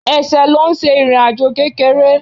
Ẹsẹ̀ ló ṣe ń rìn ìrìnàjò kékeré